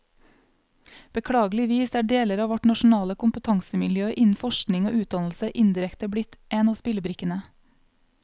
Beklageligvis er deler av vårt nasjonale kompetansemiljø innen forskning og utdannelse indirekte blitt en av spillebrikkene.